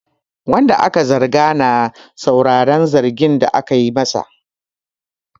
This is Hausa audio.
Wanda ake zargi na sauraran zargin da ake masa.